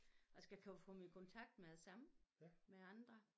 Og skal kunne komme i kontakt med det samme med andre